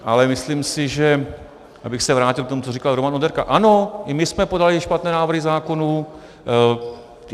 Ale myslím si, abych se vrátil k tomu, co říkal Roman Onderka, ano, i my jsme podali špatné návrhy zákonů.